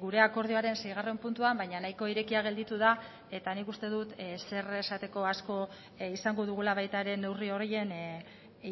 gure akordioaren seigarren puntuan baina nahiko irekia gelditu da eta nik uste dut zer esateko asko izango dugula baita ere neurri horien